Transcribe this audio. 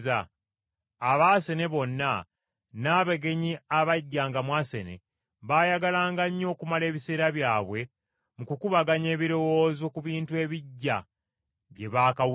Abaasene bonna n’abagenyi abajjanga mu Asene, baayagalanga nnyo okumala ebiseera byabwe mu kukubaganya ebirowoozo ku bintu ebiggya bye baakawulira.